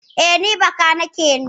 Eh, ni bakanike ne